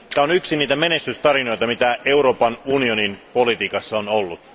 Tämä on yksi niistä menestystarinoista, joita Euroopan unionin politiikassa on ollut.